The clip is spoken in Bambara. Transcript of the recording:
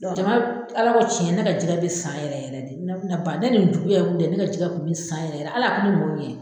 Jama Ala ko tiɲɛ, ne ka jɛgɛ bɛ san yɛrɛ yɛrɛ de ka ban, ni nin juguya ninnu tɛ , ne ka jɛkɛ tun bɛ san yɛrɛ yɛrɛ ala